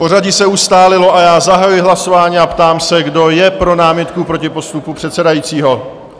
Pořadí se ustálilo a já zahajuji hlasování a ptám se, kdo je pro námitku proti postupu předsedajícího?